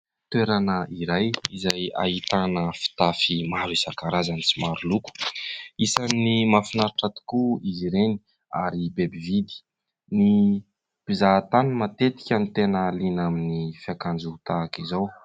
Toerana iray izay ahitana fitafy maro isan-karazany sy maro loko. Isan'ny mahafinaritra tokoa izy ireny ary be mpividy. Ny mpizahatany matetika no tena liana amin'ny fiakanjo tahaka izao.